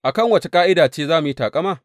A kan wace ƙa’ida ce za mu yi taƙama?